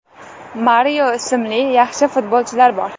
Mario ismli yaxshi futbolchilar bor.